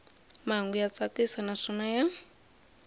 mahungu ya tsakisa naswona ya